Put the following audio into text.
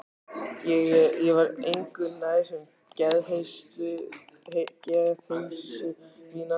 Ég var engu nær um geðheilsu mína.